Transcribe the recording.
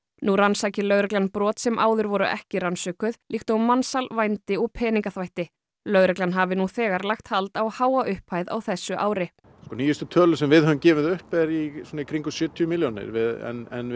nú rannsaki lögreglan brot sem áður voru ekki rannsökuð líkt og mansal vændi og peningaþvætti lögreglan hafi nú þegar lagt hald á háa upphæð á þessu ári sko nýjustu tölur sem við höfum gefið upp er í kringum sjötíu milljónir en